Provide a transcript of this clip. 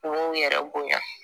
Kun yɛrɛ bonya